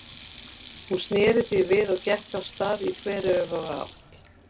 Hún sneri því við og gekk af stað í þveröfuga átt.